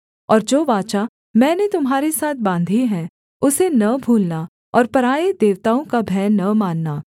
और जो वाचा मैंने तुम्हारे साथ बाँधी है उसे न भूलना और पराए देवताओं का भय न मानना